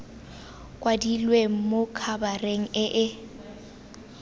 kwadilwe mo khabareng e e